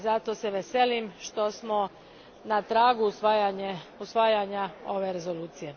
Zato se veselim što smo na tragu usvajanja ove rezolucije.